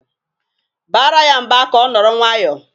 Baara ya mba ka ọ nọrọ nwayọọ!